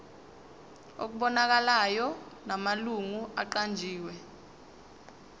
okubonakalayo namalungu aqanjiwe